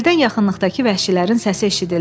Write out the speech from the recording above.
Birdən yaxınlıqdakı vəhşilərin səsi eşidildi.